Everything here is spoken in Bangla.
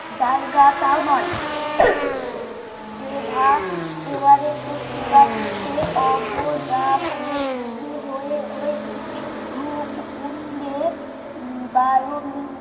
জায়গা তাও নয় এভা everest র চূড়া হয়ে হয়েছে রূপ কুন্ডে বায়ু